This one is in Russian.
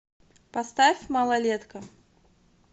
поставь малолетка